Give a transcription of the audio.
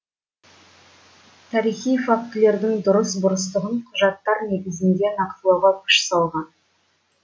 тарихи фактілердің дұрыс бұрыстығын құжаттар негізінде нақтылауға күш салған